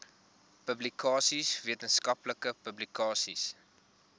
publikasies wetenskaplike publikasies